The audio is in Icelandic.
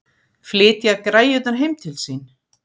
Flytja græjurnar heim til sín?